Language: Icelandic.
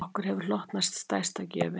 Okkur hefur hlotnast stærsta gjöfin